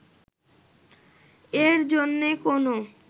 এর জন্য কোনো